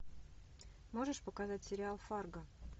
можешь показать сериал фарго